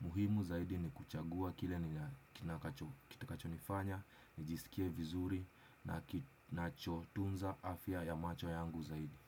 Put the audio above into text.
Muhimu zaidi ni kuchagua kile nikinakacho nifanya, nijisikie vizuri na kinachotunza afya ya macho yangu zaidi.